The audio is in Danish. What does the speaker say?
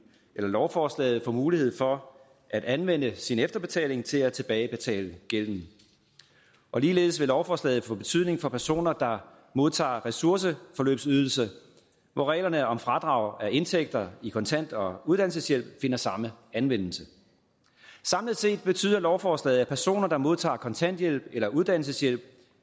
lovforslaget få mulighed for at anvende sin efterbetaling til at tilbagebetale gælden ligeledes vil lovforslaget få betydning for personer der modtager ressourceforløbsydelse hvor reglerne om fradrag af indtægter i kontant og uddannelseshjælp finder samme anvendelse samlet set betyder lovforslaget at personer der modtager kontanthjælp eller uddannelseshjælp